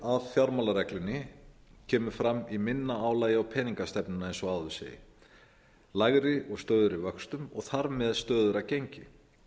ávinningurinn af fjármálareglunni kemur fram í minna álagi á peningastefnuna eins og áður segir lægri og stöðugri vöxtum og þar með stöðugra gengi